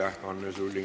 Aitäh, Anne Sulling!